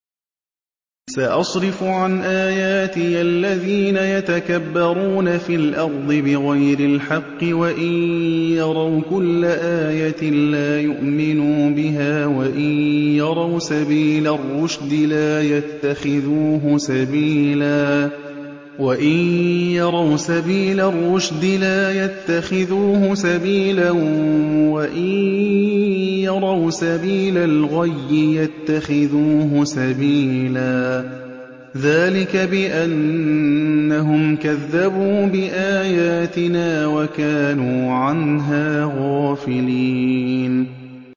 سَأَصْرِفُ عَنْ آيَاتِيَ الَّذِينَ يَتَكَبَّرُونَ فِي الْأَرْضِ بِغَيْرِ الْحَقِّ وَإِن يَرَوْا كُلَّ آيَةٍ لَّا يُؤْمِنُوا بِهَا وَإِن يَرَوْا سَبِيلَ الرُّشْدِ لَا يَتَّخِذُوهُ سَبِيلًا وَإِن يَرَوْا سَبِيلَ الْغَيِّ يَتَّخِذُوهُ سَبِيلًا ۚ ذَٰلِكَ بِأَنَّهُمْ كَذَّبُوا بِآيَاتِنَا وَكَانُوا عَنْهَا غَافِلِينَ